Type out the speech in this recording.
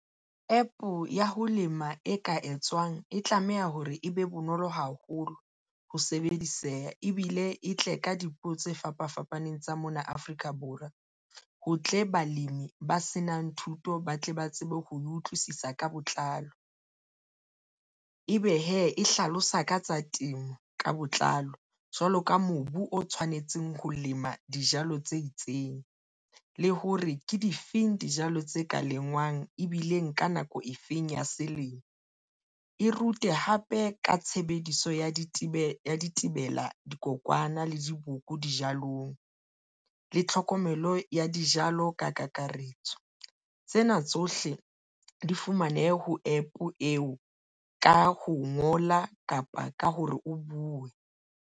APP ya ho lema e ka etswang e tlameha hore e be bonolo haholo ho sebediseha ebile e tle ka dipuo tse fapa fapaneng tsa mona Afrika Borwa. Ho tle balemi ba senang thuto ba tle ba tsebe ho utlwisisa ka botlalo ebe hee e hlalosa ka tsa temo ka botlalo jwalo ka mobu o tshwanetseng ho lema dijalo tse itseng, le hore ke difeng dijalo tse ka lengwang, ebile ka nako e feng ya selemo. E rute hape ka tshebediso ya ditebela dikokwana le diboko dijalong le tlhokomelo ya dijalo. Ka kakaretso, tsena tsohle di fumanehe ho APP eo ka ho ngola kapa ka hore o buwe.